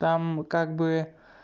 там как бы